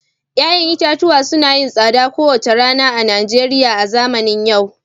Ya'yan itatuwa suna yin tsada kowace rana a Najeriya a zamanin yau